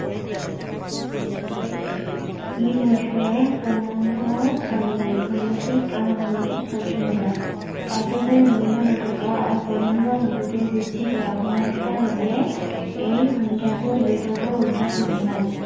ই হৈছে পূৰ্ণাংগ শাৰীৰিক মানসিক আৰু সামাজিক অক্ষমতা কাৰ্য্য কাৰি মূল্য নথকা আৰু পূৰ্ণাংগ শব্দটোৱে সৃষ্টি কৰা সমস্যা বাবে এই সংজ্ঞটো বিতৰ্কৰ উৰ্ধত নহয়